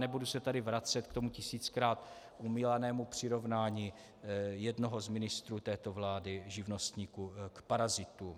Nebudu se tady vracet k tomu tisíckrát omílanému přirovnání jednoho z ministrů této vlády živnostníků k parazitům.